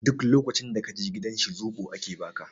Duk lokacin da ka je gidan shi soɓo ake ba ka.